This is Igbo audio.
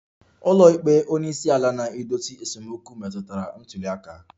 Ụlọikpe onye isi ala na-edozi esemokwu metụtara ntuli aka